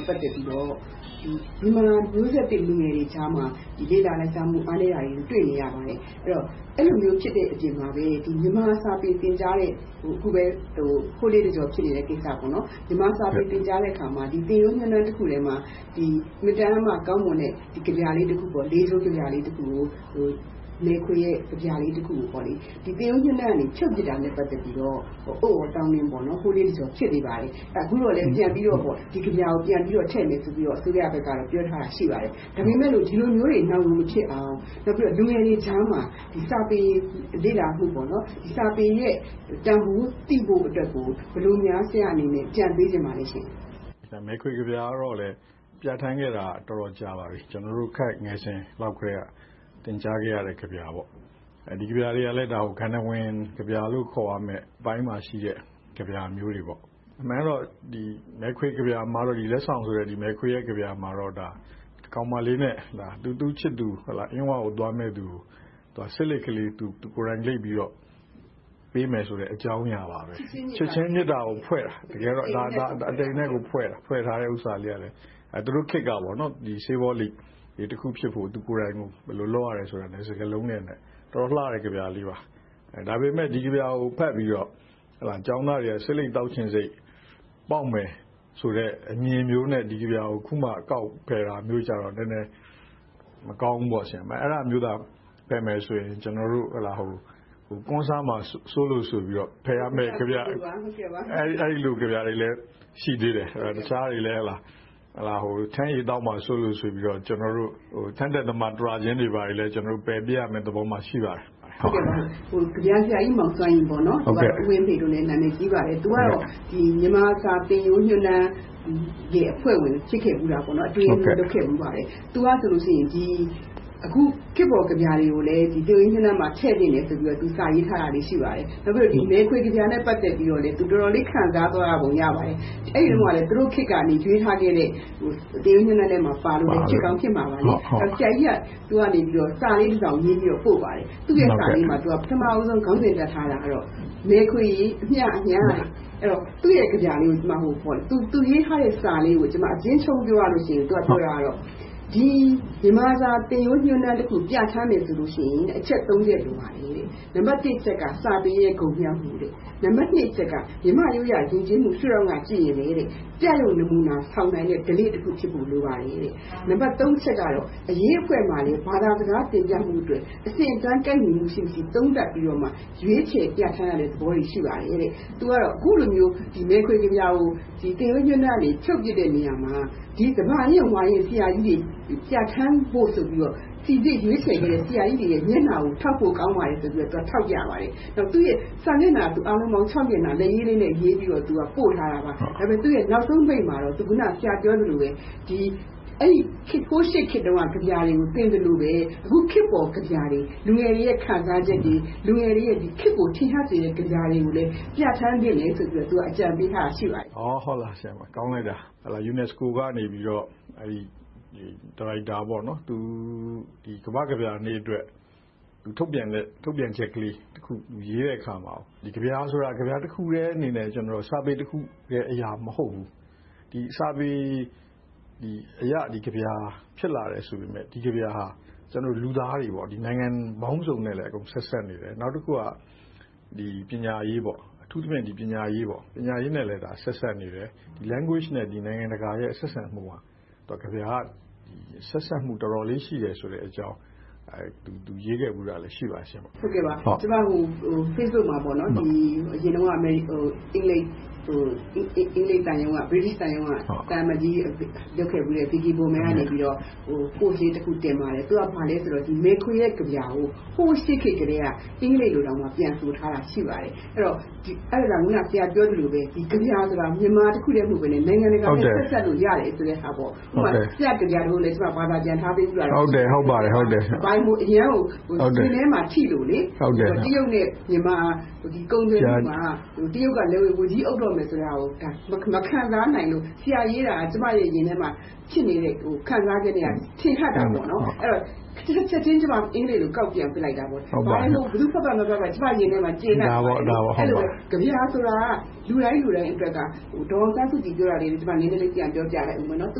ဲ့ ပတ်သက်ပြီးတော့ မြန်မာမျိုးဆက်သစ် လူငယ်တွေကြားမှာ လေ့လာလိုက်စားမှုတွေ အားနည်းနေတာကို တွေ့ရပါတယ်။ အဲဒီလိုဖြစ်နေတဲ့ အချိန်မှာပဲ မြန်မာစာပေသင်ကြားတဲ့ အခုပဲ ဟိုလေးတကျော်ဖြစ်နေတဲ့ကိစ္စ။ မြန်မာစာပေသင်ကြားတဲ့အခါမှာ သင်ရိုးညွှန်းတမ်းတခုတည်းမှာ အင်မတန်မှကောင်းမွန်တဲ့ ကဗျာလေးတပုဒ် မယ်ခွေရေးတဲ့ လေးချိုးကဗျာလေးတပုဒ်ကို သင်ရိုးညွှန်းတမ်းကနေ ဖြုတ်ပစ်လိုက်တာနဲ့ ပတ်သက်ပြီးတော့ အုတ်အော်သောင်းနင်း ဟိုလေးတကျော် ဖြစ်နေပါတယ်။ အခုတော့လဲ ဒီကဗျာကို ပြန်ပြီးတော့ထည့်မည်ဆိုပြီးတော့ ပြောထားတာ ရှိပါတယ်။ ဒါပေမဲ့လို့ ဒီလိုမျိုးတွေ နောက်မဖြစ်အောင်၊ နောက်ပြီးတော့ လူငယ်တွေကြားမှာ စာပေလေ့လာမှု၊ စာပေရဲ့တန်းဖိုးသိဖို့အတွက်ကို ဘယ်လိုများ ဆရာအနေနဲ့ အကြံပေးချင်ပါလဲ။ မယ်ခွေကဗျာကို ပြဌာန်းခဲ့တာ တော်တော်လေး ကြာခဲ့ပါပြီ။ ကျနော်တို့ ခပ်ငယ်စဉ်ကတည်းက သင်ကြားခဲ့ရတဲ့ ကဗျာ ဖြစ်ပါတယ်။ ဒီကဗျာကလည်း တကယ့်ကို ဂန္ထဝင်ကဗျာလို့ ခေါ်ရမယ့်အပိုင်းမှာရှိတဲ့ ကဗျာမျိုးတွေပါ။ အမှန်ကတော့ မယ်ခွေကဗျာမှာတော့ လက်ဆောင်ကဗျာမှာတော့ သူ့ချစ်သူ အင်းဝကိုသွားမယ်သူကို ဆေးလိပ်ကလေးကို သူကိုယ်တိုင်လိပ်ပြီးတော့ ပေးမယ်ဆိုတဲ့ အကြောင်းအရာပါပဲ။ တကယ်တော့ ချစ်ချင်းမေတ္တာကိုဖွဲ့တာ။ အတိမ်အနက်ကို ဖွဲ့ထားတာ။ အဲဒီခေတ်က ဆေးပေါလိပ်တလိပ်ဖြစ်ဖို့ သူကိုယ်တိုင် ဘယ်လိုလုပ်ရတယ်ဆိုတာကို စကားလုံးတွေနဲ့ ဖွဲ့နွဲ့ထားတဲ့ အတော်လှတဲ့ ကဗျာ ဖြစ်ပါတယ်။ ဒါပေမဲ့ ဒီကဗျာကို ဖတ်ပြီးတော့ ကျောင်းသားတွေက ဆေးလိပ်သောက်ချင်စိတ် ပေါက်မယ်ဆိုတဲ့ အမြင်မျိုးနဲ့ ဒီကဗျာကို အခုမှ ကောက်ဖယ်တာမျိုးကြာတော့ မကောင်းဘူးပေါ့။ အဲဒါမျိုးသာ ပယ်မယ်ဆိုရင် ကျနော်တို့ ကွမ်းစားမှာ စိုးရိမ်လို့ဆိုပြီးတော့ ဖယ်ရမယ့်ကဗျာတွေလည်း ရှိသေးတယ်။ ထန်းရည်သောက်မှာ စိုးလို့ဆိုပြီးတော့ ထန်းတက်သမား တျာချင်းတွေလည်း ပယ်ပြစ်ရမယ့်သဘောမှာ ရှိပါတယ်။ ကဗျာဆရာကြီး မောင်စွမ်းရည်၊ သို့မဟုတ် ဦးဝင်းဖေလို့လည်း နာမည်ကြီးပါတယ်။ မြန်မာစာသင်ရိုးညွှန်းတမ်းအဖွဲ့ဝင် - အတွင်းရေးမှူးအဖြစ်လည်း လုပ်ခဲ့ပါတယ်။ သူကဆိုရင် အခုခေတ်ပေါ်ကဗျာတွေကိုလည်း သင်ရိုးညွှန်းတမ်းမှာ ထည့်သင့်တယ်ဆိုပြီးတော့ စာရေးထားတာလေး ရှိပါပြီ။ နောက်မယ်ခွေကဗျာနဲ့ ပတ်သက်ပြီးတော့လည်း သူတော်တော်လေး ခံစားသွားရပုံ ရပါတယ်။ အဲဒီတုန်းကလဲ သူတို့ခေတ်မှာ ရွေးထားတဲ့ သင်ရိုးညွှန်းတမ်းမှာ ပါလို့လဲ ဖြစ်ကောင်းဖြစ်မှာပါ။ ဆရာကြီးက စာလေးတစောင်ရေးပြီး ပို့ပါတယ်။ သူ့ရဲ့စာလေးမှာ ပထမဦးဆုံး ခေါင်းစင်တပ်ထားတာတော့ ‘မယ်ခွေရေ အမျှ အမျှ’ လို့ ရေးထားပါတယ်။ သူ့ရဲ့ကဗျာလေးကို သူရေးထားတဲ့ စာလေးကို အကျဉ်းချုံးပြောရရင် မြန်မာစာသင်ရိုးညွှန်းတမ်းတခု ပြဌာန်းမယ်ဆိုရင် အချက် ချက် လိုပါတယ်။ နံပတ်တစ်က စာပေ၏ ဂုဏ်မြောက်မှု။ နံပတ်နှစ်က မြန်မာ့ရိုးရာယဉ်ကျေးမှု ရှု့ထောင့်ကကြည့်ရင်လဲ ပြယုဂ်နမူနာ ဆောင်နိုင်တဲ့ ဓလေ့တခုဖြစ်ဖို့ လိုပါတယ်။ နံပတ် အချက်ကတော့ အရေးအဖွဲ့မှာလည်း ဘာသာစကားု တင်ပြမှုအတွက် အဆင့်အတန်း ကိုက်ညီမှုရှိမရှိ သုံးသပ်ပြီးတော့မှ ရွေးချယ်ပြဌာန်းရတဲ့သဘောတွေ ရှိပါတယ်။ သူက အခုလိုမျိုး မယ်ခွေကဗျာကို သင်ရိုးညွှန်ကနေ ဖြုတ်ပစ်တဲ့နေရာမှာ သမာရင့်၊ ဝါရင့် ဆရာကြီးတွေကို ပြဌာန်းဖို့ စီစစ်ရွေးချယ်ခဲ့တဲ့ ဆရာကြီးတွေရဲ့ မျက်နှာကို ထောက်ဖို့ကောင်းပါတယ်ဆိုပြီး ထောက်ပြပါတယ်။ စာမျက်နှာအားလုံးပေါင်း မျက်နှာ လက်ရေးလေးနဲ့ရေးပြီးတော့ ပို့ထားတာပါ။ ဒါပေမဲ့ သူ့ရဲ့နောက်ဆုံးပိတ်မှာတော့ အခုန ဆရာပြောသလိုပဲ ဟိုးရှေ့ခေတ်တုန်းက ကဗျာတွေကို သင်သလိုပဲ အခုခေတ်ပေါ်ကဗျာတွေ၊ လူငယ်တွေရဲ့ ခံစားချက်တွေ၊ လူငယ်တွေရဲ့ ခေတ်ကိုထင်ဟပ်စေတဲ့ ကဗျာတွေကိုလည်း ပြဌာန်းသင့်တယ်လို့ အကြံပေးထားတာ ရှိပါတယ်။ ကောင်းလိုက်တာ။ UNISECO ကနေ ဒါရိုက်တာက ကမ္ဘာ့ကဗျာနေ့အတွက် ထုတ်ပြန်ချက်ကလေးတခု ရေးတဲ့အခါမှာ ကဗျာဆိုတာ ကဗျာတခုတည်းအနေနဲ့ စာပေတခုရဲ့ အရာမဟုတ်ဘူး။ စာပေအရ ဒီကဗျာ ဖြစ်လာတယ်ဆိုပေမယ့် ဒီကဗျာဟာ ကျနော်တို့ လူသားတွေ၊ နိုင်ငံပေါင်းစုံနဲ့လည်း ဆက်စပ်နေတယ်။ နောက်တခုက ပညာရေး - အထူးသဖြင့် ပညာရေးနဲ့လည်း ဆက်စပ်နေတယ်။ ဘာသာစကားနဲ့ နိုင်ငံတကာ ဆက်ဆံမှုဟာ ကဗျာက ဆက်စပ်မှု တော်တော်လေးရှိတယ်ဆိုတဲ့အကြောင်း သူ ရေးခဲ့ဖူးတာလည်း ရှိပါတယ်။ ကျမ facebook မှာ အရင်တုန်းက အင်္ဂလိပ်သံရုံးက သံအမတ်ကြီးလုပ်ခဲ့ဖူးတဲ့ Vicky Bowman က Post လေးတခု တင်ပါတယ်။ သူက ဘာပြောလဲဆိုတော့ မယ်ခွေရဲ့ ကဗျာကို ဟိုးရှေ့ခေတ်ကတည်းက အင်္ဂလိပ်လိုတောင် ပြန်ဆိုထားတာ ရှိပါတယ်။ အဲဒါကြောင့် အခုန ဆရာပြောသလိုပဲ ကဗျာဆိုတာ မြန်မာတခုတည်း မဟုတ်ဘဲနဲ့ နိုင်ငံတကာနဲ့ ဆက်စပ်လို့ရတယ်ဆိုတဲ့အရာ - ဥပမာ ဆရာ့ကဗျာတပုဒ်လည်း ကျမဘာသာပြန်ထားပေးထားပါတယ်။ အရမ်းကို ရင်ထဲမှာထိလို့ပါ။ တရုတ်နဲ့ မြန်မာ ကုန်သွယ်မှုမှာ တရုတ်က လက်ဝါးကြီးအုပ်တော့မယ်ဆိုတာကို မခံစားနိုင်လို့။ ဆရာရေးတာ ကျမရဲ့ ရင်ထဲမှာ ဖြစ်နေတဲ့ ခံစားချက်နဲ့ ထင်ဟပ်တာကြောင့် ချက်ချင်း ကျမ အင်္ဂလိပ်လို ကောက်ပြန်ပြစ်လိုက်တယ်။ ဘယ်သူဖတ်ဖတ် မဖတ်ဖတ် ကျမရင်ထဲမှာ ကျေနပ်သွားတယ်။ အဲဒီလိုပဲ ကဗျာဆိုတာ လူတိုင်းလူတိုင်းအတွက် ဒေါ်အောင်ဆန်းစုကြည် ပြောတာလေး နည်းနည်းလေး ပြန်ပြောပြလိုက်အုံးမယ်။ သူ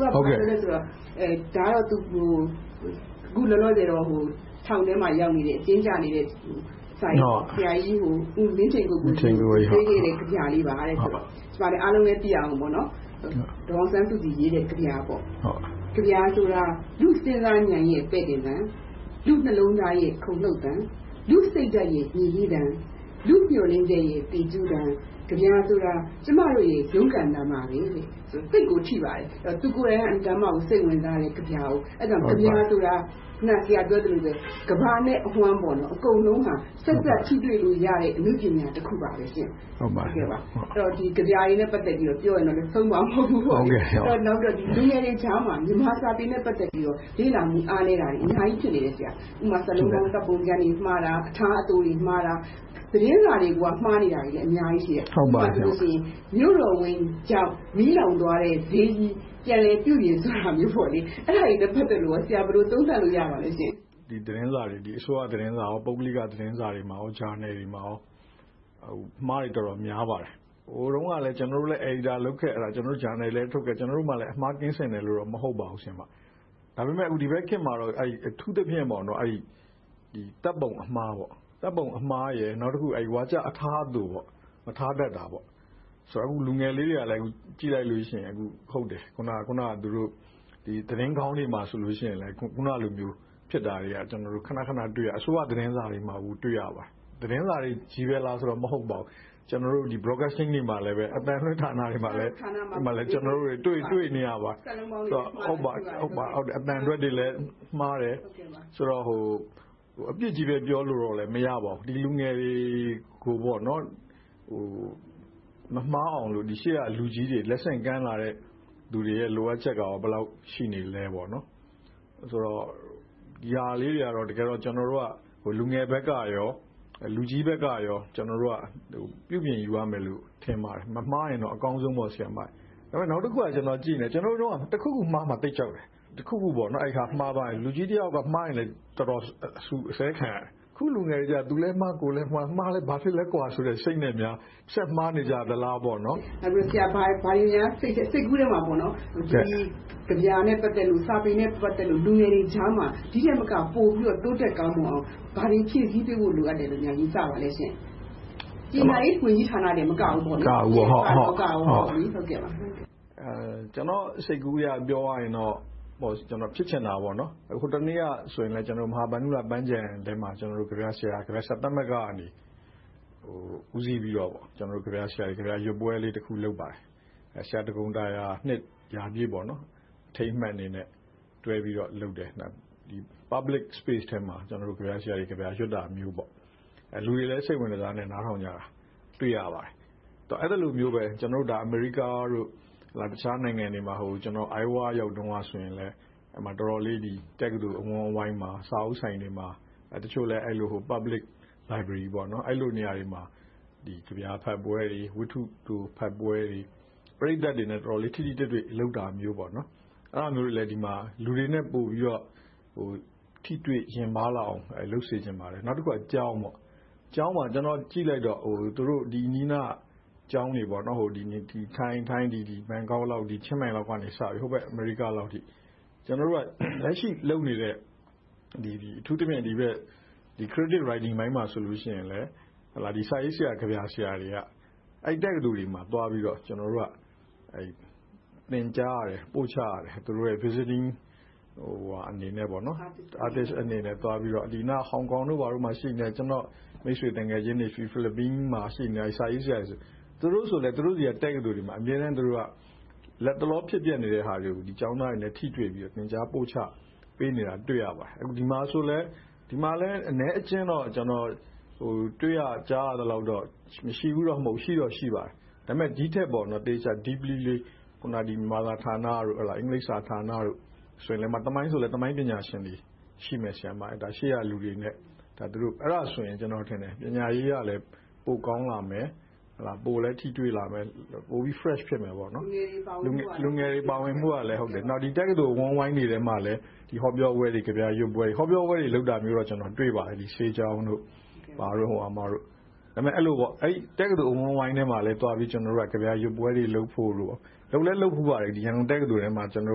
က ဘာပြောလဲဆိုတော့ အခုလောလောဆယ်တော့ ထောင်ထဲမှာရောက်နေတဲ့ အကျဉ်းကျနေတဲ့ ဆရာကြီးမင်းထင်ကိုကိုကြီး ကို ပေးခဲ့တဲ့ ကဗျာလေးပါ။ အားလုံးလည်း သိရအောင် ဒေါ်အောင်ဆန်းစုကြည် ရေးတဲ့ကဗျာ - “ကဗျာဆိုတာ လူ့စဉ်းစားဉာဏ်ရဲ့ ပဲ့တင်သံ… လူ့နှလုံးသားရဲ့ ခုန်လှုပ်သံ… လူ့စိတ်ဓါတ်ရဲ့ မြည်ဟီးသံ… လူ့မျှော်လင့်ချက်ရဲ့ သီကျူးသံ… ကဗျာဆိုတာ ကျမတို့ရဲ့ ရုန်းကန်သံပါပဲ” သိပ်ကိုထိပါတယ်။ သူကိုယ်တိုင်က အင်မတန်ကိုမှ ကဗျာကို စိတ်ဝင်စားတယ်။ အဲဒါကြောင့် ကဗျာဆိုတာ အခုန ဆရာပြောသလိုပဲ ကမ္ဘာနဲ့အဝှမ်း အကုန်လုံးဟာ ဆက်စပ်ထိတွေ့လို့ရတဲ့ အနုပညာတခုပါ။ ကဗျာတွေနဲ့ ပတ်သက်ပြီးတော့ ပြောရမယ်ဆိုရင်တော့ ဆုံးမှာမဟုတ်ဘူး။ လူငယ်တွေကြားမှာ မြန်မာစာပေနဲ့ ပတ်သက်ပြီးတော့ လေ့လာမှု အားနည်းနေတာတွေ အများကြီးဖြစ်နေပါတယ်။ ဥပမာ စာလုံးပေါင်း၊ သတ်ပုံတွေ မှားတာ။ အထားအသိုတွေမှားတာ။ သတင်းစာတွေကိုက မှားနေတာတွေ အများကြီးရှိတယ်။ ဥပမာ “မြို့တော်ဝန်ကြောင့် မီးလောင်သွားတဲ့ ဈေးကြီး ပြန်လည်ပြုပြင်” ဆိုတာမျိုး - အဲဒါတွေနဲ့ ပတ်သက်လို့ ဆရာ ဘယ်လိုသုံးသပ်လို့ ရပါသလဲ။ ဒီသတင်းစာတွေ - အစိုးရသတင်းစာနဲ့ ပုဂ္ဂလိကသတင်းစာတွေနဲ့ ဂျာနယ်တွေမှာ အမှားတွေ အတော်များပါတယ်။ ဟိုတုန်းကလည်း ကျနော်တို့လည်း အယ်ဒီတာ လုပ်ခဲ့တယ်။ ဂျာနယ်တွေလည်း ထုတ်ခဲ့တယ်။ ကျနော်တို့လည်း အမှားကင်းစင်တယ်လို့တော့ မဟုတ်ပါဘူး။ ဒါပေမဲ့ ဒီဘက်ခေတ်မှာတော့ အထူးသဖြင့် သတ်ပုံအမှား၊ ဝါကျအထားအသို မထားတတ်တာ။ လူငယ်လေးတွေကလည်း ကြည့်လိုက်ရင် ဟုတ်တယ် - အခုနပြောတဲ့ သတင်းခေါင်းတွေမှာဆိုရင် အခုနလိုမျိုး ဖြစ်တာတွေကလည်း ခဏခဏ တွေ့ရတယ်။ အစိုးရသတင်းစာတွေမှာလည်း တွေ့ရပါတယ်။ သတင်းစာတွေပဲလားဆို မဟုတ်ပါဘူး။ ကျနော်တို့ Broadcasting တွေမှာလည် အသံလွှင့်ဌာနတွေမှာလည်း ကျနော်တို့ တွေ့နေရပါတယ်။ စာလုံးပေါင်းနဲ့ အသံထွက်တွေ မှားတယ်။ ဆိုတော့ အပြစ်ကြီးလည်း ပြောလို့တော့ မရပါဘူး။ လူငယ်တွေကို မမှားအောင်လို့ ရှေ့ကလူကြီးတွေ လက်ဆင့်ကမ်းလာတဲ့ လူတွေရဲ့ လိုအပ်ချက်ကလည်း ဘယ်လောက်ရှိနေလဲ။ ဒီဟာလေးတွေကတော့ ကျနော်တို့ လူငယ်ဘက်နဲ့ လူကြီးဘက်တို့ကို ပြုပြင်ယူရမယ်လို့ ထင်ပါတယ်။ မမှားရင်တော့ အကောင်းဆုံးပေါ့။ နောက်တခုက ကျနော်တို့တုန်းက တခုခုမှားမှာကို သိပ်ကြောက်တယ်။ တခုခု လူကြီးတယောက်ယောက်ကမှားရင် တော်တော်လေး အဆူအဆဲခံရတယ်။ အခုလူငယ်တွေကြတော့ သူလည်းမှား၊ ကိုယ်လည်းမှား - မှားလည်းဘာဖြစ်လဲဆိုတဲ့ စိတ်နဲ့များ ဆက်မှားနေကြသလားပေါ့။ ဆရာအနေနဲ့ ဘာတွေများ စိတ်ကူးထဲမှာ ဒီကဗျာနဲ့ ပတ်သက်လို့၊ စာပေနဲ့ ပတ်သက်လို့ လူငယ်တွေကြားမှာ ဒီထက်မက ပိုပြီးတော့ တိုးတက်ကောင်းမွန်အောင် ဘာတွေဖြည့်ဆည်းပေးဖို့ လိုအပ်တယ်လို့ ယူဆပါလဲ။ ပညာရေးဝန်ကြီးဌာနတင် မကဘူး… ကျနော့်စိတ်ကူးအရ ပြောရရင်တော့ ဖြစ်ချင်တာက ဟိုတနေက မဟာဗန္ဓုလပန်းခြံထဲမှာ ကဗျာဆရာသမဂ္ဂကနေ ဦးစီးပြီးတော့ ကဗျာဆရာတွေ ကဗျာရွတ်ဖတ်ကြတဲ့ ပွဲလေးတခု လုပ်ပါတယ်။ ဆရာဒဂုန်တာရာ နှစ်ရာပြည့်ပေါ့။ အထိမ်းအမှတ်အနေနဲ့ တွဲပြီးတော့လုပ်တယ်။ Public space ထဲမှာ ကဗျာဆရာတွေ ကဗျာရွတ်တာမျိုး။ လူတွေလည်း စိတ်ဝင်တစားနဲ့ နားထောင်ကြတာကို တွေ့ရပါတယ်။ အဲဒီလိုမျိုးပဲ အမေရိကနဲ့ တခြားနိုင်ငံတွေမှာ ကျနော် Iowa ပြည်နယ်ရောက်တုန်းကလည်း တော်တော်လေး တက္ကသိုလ် အဝန်းအဝိုင်းတွေမှာ၊ စာအုပ်ဆိုင်တွေမှာ၊ စာကြည့်တိုက်တွေမှာ ကဗျာဖတ်ပွဲတွေ၊ ဝတ္ထုတိုဖတ်ပွဲတွေ ပရိသတ်တွေနဲ့ တော်တော်လေး ထိထိတွေ့တွေ့ လုပ်တာမျိုး။ အဲဒီလိုမျိုးတွေကို ဒီမှာလည်း လူတွေနဲ့ ပိုထိတွေ့ပြီးတော့ ထိတွေ့ယဉ်ပါးလာအောင် လုပ်စေချင်တယ်။ နောက်တခုက ကျောင်း။ စာသင်ကျောင်းတွေမှာ ကျနော်ကြည့်လိုက်တော့ အနီးအနားက ကျောင်းတွေ ထိုင်း ဘန်ကောင်၊ ချင်းမိုင်လောက်ကစပြီး ဟိုဘက် အမေရိကလောက်အထိ ကျနော်တို့က လက်ရှိလုပ်နေတဲ့ အထူးသဖြင့် ဒီဘက် Creative writing ပိုင်းမှာဆို စာရေးဆရာ၊ ကဗျာဆရာတွေက အဲဒီတက္ကသိုလ်တွေမှာ သွားပြီးတော့ ကျနော်တို့က သင်ကြားရတယ်။ ပို့ချရတယ်။ သူတို့ရဲ့ အတွေ့အကြုံတွေကို Visiting အနေနဲ့ သွားပြီးတော့။ နောက်ပြီးတော့ ဟောင်ကောင်တို့မှာ ရှိနေတဲ့ ကျနော့်မိတ်ဆွေသူငယ်ချင်းတွေ၊ ဖိလစ်ပိုင်မှာရှိနေတဲ့ စာရေးဆရာတွေက သူတို့ဆီမှာလဲ သူတို့ရဲ့ တက္ကသိုလ်တွေမှာ အမြဲတမ်း လက်တလော ဖြစ်ပျက်နေတဲ့ဟာတွေကို ကျောင်းသားတွေနဲ့ ထိတွေ့ပြီးတော့ သင်ကြားပို့ချပေးနေတာကို တွေ့ရပါတယ်။ ဒီမှာလဲ အနည်းအကျဉ်းတော့ တွေ့ရကြားရသလောက်တော့ မရှိဘူးတော့ မဟုတ်ပါဘူး၊ ရှိတော့ရှိပါတယ်။ ဒါပေမဲ့ ဒီထက်ပိုပြီး deeply မြန်မာစာဌာန၊ အင်္ဂလိပ်စာဌာနတို့ သမိုင်းဆိုလဲ သမိုင်းပညာရှင်တွေ ရှိရမယ်။ အဲဒါဆိုရင် ကျနော်ထင်တယ် - ပညာရေးကလည်း ပိုကောင်းလာမယ်။ ပိုလည်း ထိတွေ့လာမယ်။ ပိုပြီးတော့ fresh ဖြစ်မယ်။ လူငယ်တွေပါဝင်မှုကလည်း ဒီတက္ကသိုလ် အဝန်းအဝိုင်းတွေထဲမှာလဲ ဟောပြောပွဲတွေ၊ ကဗျာရွတ်ပွဲတွေ - ဟောပြောပွဲတွေ လုပ်တာတော့ တွေ့ဖူးပါတယ်။ အဲဒီလို တက္ကသိုလ် အဝန်းအဝိုင်းထဲမှာလည်း ကဗျာရွတ်ပွဲတွေ လုပ်ဖို့ - လုပ်လည်းလုပ်ဖူးပါတယ်။ ရန်ကုန်တက္ကသိုလ်ထဲမှာ သစ်ပု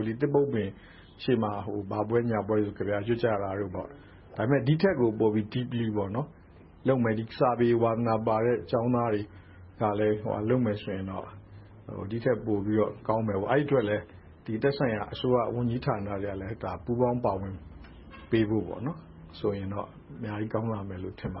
ပ်ပင်ရှေ့မှာ ဘာပွဲညာပွဲ ကဗျာရွတ်ကြတာ။ ဒီထက်ကိုပိုပြီး deeply လုပ်မယ်။ စာပေဝါသနာပါတဲ့ ကျောင်းသားတွေလည်း လုပ်မယ်ဆိုရင်တော့ ဒီထက်ပိုပြီးတော့ကောင်းမယ်။ အဲဒီအတွက်လဲ သက်ဆိုင်ရာ အစိုးရဝန်ကြီးဌာနတွေကလည်း ပူးပေါင်းပါဝင်ပေးနိုင်ရင်တော့ အများကြီးကောင်းလာမယ်လို့ ထင်ပါ